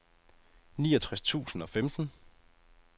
niogtres tusind og femten